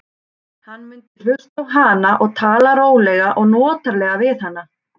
Hann mundi hlusta á hana og tala rólega og notalega við hana.